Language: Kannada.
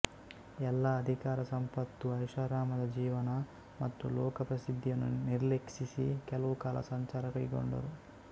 ಎಲ್ಲ ಅಧಿಕಾರ ಸಂಪತ್ತು ಐಷಾರಾಮದ ಜೀವನ ಮತ್ತು ಲೋಕ ಪ್ರಸಿದ್ಧಿಯನ್ನು ನಿರ್ಲಕ್ಷಿಸಿ ಕೆಲವು ಕಾಲ ಸಂಚಾರ ಕೈಗೊಂಡರು